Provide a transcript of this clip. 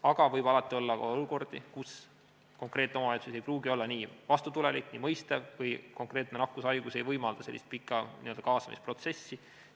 Aga alati võib olla olukordi, kus konkreetne omavalitsus ei pruugi olla nii vastutulelik ega mõistev või konkreetne nakkushaigus ei võimalda sellist pikka kaasamisprotsessi.